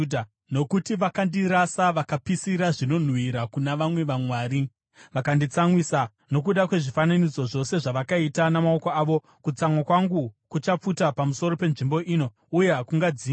Nokuti vakandirasa, vakapisira zvinonhuhwira kuna vamwe vamwari, vakanditsamwisa nokuda kwezvifananidzo zvose zvavakaita namaoko avo, kutsamwa kwangu kuchapfuta pamusoro penzvimbo ino uye hakungadzimwi.’